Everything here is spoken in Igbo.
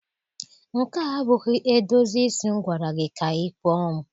Nke a abụghị edozi isi m gwara gị ka ị kpụọ m.